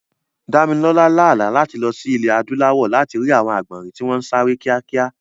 Dámilọ́lá lá àlá láti lọ sí ilẹ̀ Adúláwọ̀ láti rí àwọn àgbọ̀nrìn tí wọ́n ń sáré kíákíá